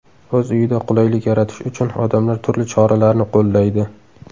O‘z uyida qulaylik yaratish uchun odamlar turli choralarni qo‘llaydi.